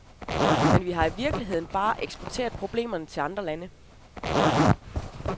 Men vi har i virkeligheden bare eksporteret problemerne til andre lande.